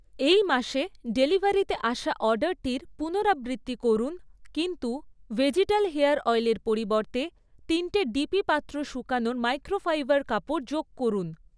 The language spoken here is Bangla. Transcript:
এই মাসে ডেলিভারিতে আসা অর্ডারটির পুনরাবৃত্তি করুন কিন্তু ভেজিটাল হেয়ার অয়েলের পরিবর্তে তিনটে ডিপি পাত্র শুকানোর মাইক্রোফাইবার কাপড় যোগ করুন